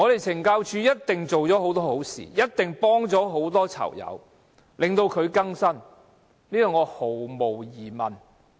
懲教署一定做了很多好事，幫助了很多囚友更生，我對此毫無疑問。